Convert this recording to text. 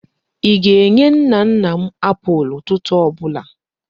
Ị ga-enye nna nna m apụl ụtụtụ ọ bụla!